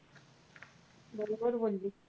बरोबर बोललीस.